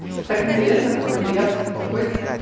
просто так интересно такой лев такой